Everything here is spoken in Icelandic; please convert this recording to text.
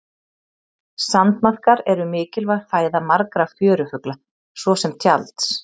sandmaðkar eru mikilvæg fæða margra fjörufugla svo sem tjalds